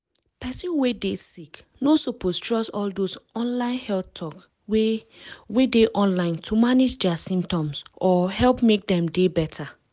person wey dey sick no suppose trust all dose online health talk wey wey dey online to manage dia symptoms or help make dem dey better.